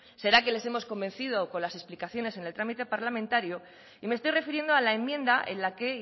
será que les hemos convencido con las explicaciones en el trámite parlamentario y me estoy refiriendo a la enmienda en la que